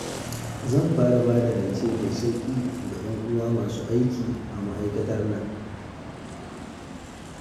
Zan fara ba da rance mai sauƙi ga 'yanuwana masu aiki a ma'aikatar nan